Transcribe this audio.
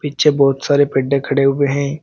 पीछे बहुत सारे पेड्डे खड़े हुए हैं।